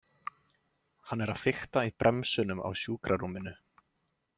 Hann er að fikta í bremsunum á sjúkrarúminu.